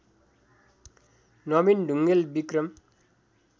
Nabin Dhungel Vikram